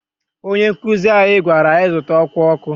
Ónyé nkuzi anyị gwara anyị zụta ọkwá ọkụ.